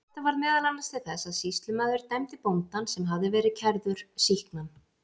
Þetta varð meðal annars til þess að sýslumaður dæmdi bóndann, sem hafði verið kærður, sýknan.